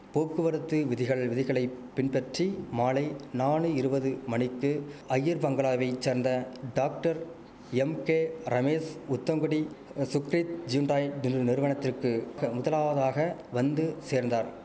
போக்குவரத்து விதிகள் விதிகளை பின்பற்றி மாலை நாலு இருவது மணிக்கு அய்யர்பங்களாவை சேர்ந்த doctor M K Ramesh Uthangudi Sukrith Hyundai நிறு நிறுவனத்திற்கு முதலாவதாக வந்து சேர்ந்தார்